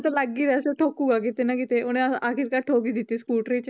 ਤਾਂ ਲੱਗ ਹੀ ਰਿਹਾ ਸੀ ਉਹ ਠੋਕੂਗਾ ਕਿਤੇ ਨਾ ਕਿਤੇ ਉਹਨੇ ਆਖ਼ਿਰਕਾਰ ਠੋਕ ਹੀ ਦਿੱਤੀ ਸਕੂਟਰੀ 'ਚ